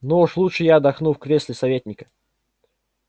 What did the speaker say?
но уж лучше я отдохну в кресле советника